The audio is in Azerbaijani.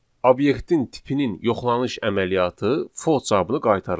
obyektin tipinin yoxlanış əməliyyatı false cavabını qaytarır.